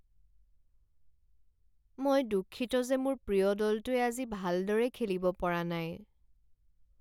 মই দুঃখিত যে মোৰ প্ৰিয় দলটোৱে আজি ভালদৰে খেলিব পৰা নাই।